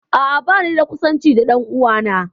A'a, banida kusanci da ɗan'uwana